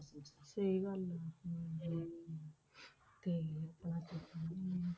ਸਹੀ ਗੱਲ ਹੈ ਹਮ ਤੇ ਆਪਣਾ ਕੀ ਕਹਿੰਦੇ ਨੇ,